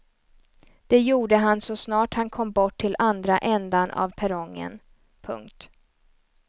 Det gjorde han så snart han kom bort till andra ändan av perrongen. punkt